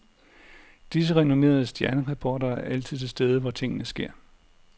Disse renommerede stjernereportere er altid til stede hvor tingene sker.